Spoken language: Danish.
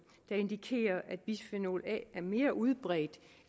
der indikerer at bisfenol a er mere udbredt